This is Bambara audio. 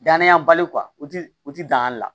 Dananyabali u ti u ti dankali la